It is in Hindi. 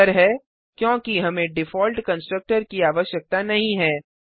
उत्तर है क्योंकि हमें डिफॉल्ट कंस्ट्रक्टर की आवश्यकता नहीं है